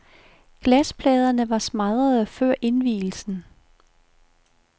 Glaspladerne var smadrede før indvielsen.